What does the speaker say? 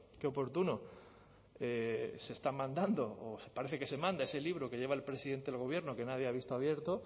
qué oportuno se está mandando o parece que se manda ese libro que lleva el presidente del gobierno que nadie ha visto abierto